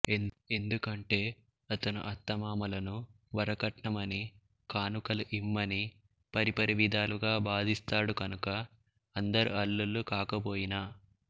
ఎందుకంటే అతను అత్త మామలను వరకట్నమని కానుకలు ఇమ్మని పరి పరి విధాలుగా బాధిస్తాడు కనుక అందరు అళ్ళుల్లు కాకపొయినా